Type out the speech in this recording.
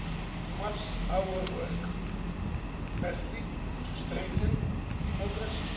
It maps our work firstly to strengthen democracy.